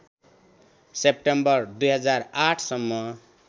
September २००८ सम्म